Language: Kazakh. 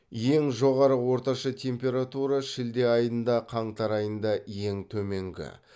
ең жоғары орташа температура шілде айында қаңтар айында ең төменгі